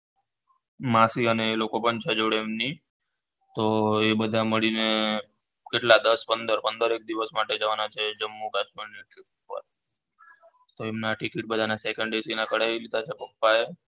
માસી અને એ લોકો પણ છે જોડે એમની તો એ બધાં મળીને કેટલા દસ પંદર પંદર એક દિવસ માટે જવાના છે જમ્મુકાશ્મીર તો એમના ticket બધા second ના કઢાય દીધા છે પપ્પા એ